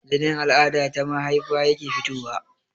Jinin al'ada ta mahaifa yake fitowa